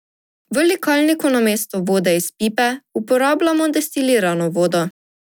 V likalniku namesto vode iz pipe uporabljamo destilirano vodo.